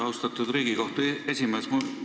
Austatud Riigikogu esimees!